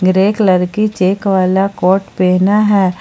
Grey colour की check वाला coat पहना है।